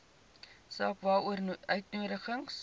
saak waaroor uitnodigings